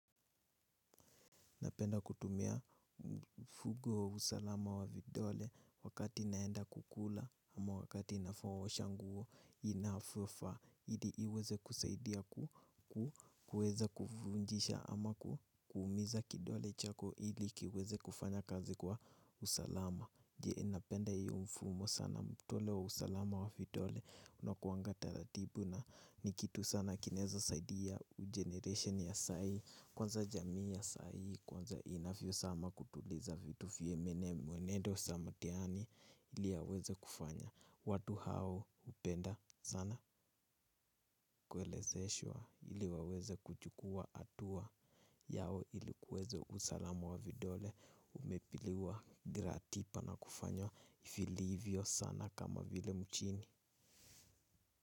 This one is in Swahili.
Napenda kutumia mfumo wa usalama wa vidole wakati naenda kukula ama wakati naosha nguo inafufa. Ili iweze kusaidia kuweza kufunjisha ama kuumiza kidole chako ili kiweze kufanya kazi kwa usalama. Je napenda iyo mfumo sana mtole wa usalama wa vidole. Unakuwanga taratibu na ni kitu sana kinaeza saidia ugeneration ya sai. Kwanza jamii ya sai, kwanza inavyosama kutuliza vitu vye mwenendo sa mtiani ili yaweze kufanya. Watu hao hupenda sana kuelezeshwa ili waweze kuchukua atua. Yao ili kuweze usalamu wa vidole umepiliwa gratipa na kufanywa filiivyo sana kama vile mchini.